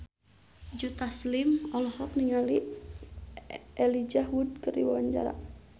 Joe Taslim olohok ningali Elijah Wood keur diwawancara